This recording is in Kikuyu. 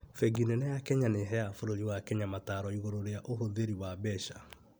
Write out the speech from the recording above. Bengi nene ya Kenya nĩheaga bũrũri wa Kenya mataaro igũrũ rĩ ũhũthĩri wa mbeca